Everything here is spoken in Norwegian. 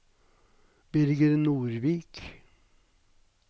Birger Nordvik